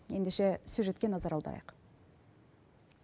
ендеше сюжетке назар аударайық